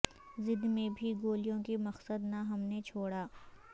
زد میں بھی گولیوں کی مقصد نہ ہم نےچھوڑا